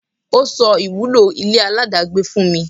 Ọ́ sọ ìwúlò ile aláàdágbé fún mi.